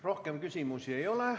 Rohkem küsimusi ei ole.